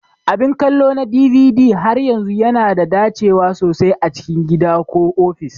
Abin kallo na DVD har yanzu yana da dacewa sosai a cikin gida ko ofis.